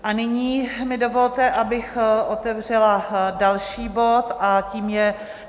A nyní mi dovolte, abych otevřela další bod, a tím je